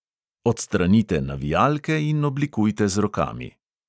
Odstranite navijalke in oblikujte z rokami.